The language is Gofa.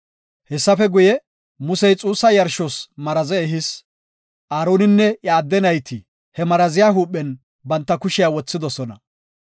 Hessafe guye, Musey xuussa yarshos maraze ehis; Aaroninne iya adde nayti he maraziya huuphen banta kushiya wothidosona.